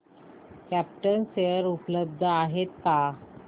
krypton share उपलब्ध आहेत का